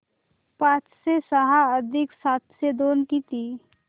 पाचशे सहा अधिक सातशे दोन किती